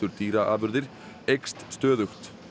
dýraafurðir eykst stöðugt